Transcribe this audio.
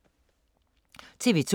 TV 2